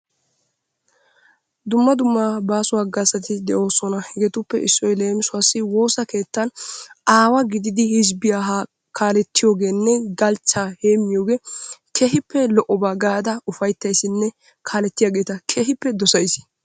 Dumma dumma baaso hagazati de'oosona. Hegetuppe issoy leemissuwa woossaa keettaan aawa gididi hizbbiyaa kaaletiyoogenne galchcha heemitooge keehippe lo"obba gaada ufayttayssinne kaaletiyaageeta keehippe dosays.